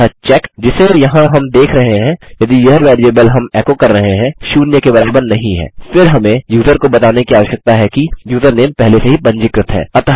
अतः चेक जिसे यहाँ हम देख रहे हैं यदि यह वेरिएबल हम एको कर रहे हैं शून्य के बराबर नहीं है फिर हमें यूज़र को बताने की आवश्यकता है कि यूज़रनेम पहले से ही पंजीकृत है